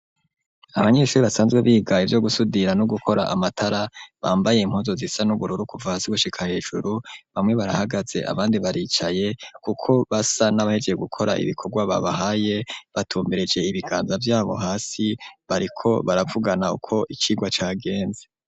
Abanyeshuri basanzwe biga ivyo gusudira no gukora amatara bambaye impuzu zisa n'ubururu kuva hasi gushika hejuru bamwe barahagaze abandi baricaye kuko basa n'abahejeje gukora ibikorwa babahaye batumbereje ibiganza vyabo hasi bariko baravugana uko icigwa cagenze.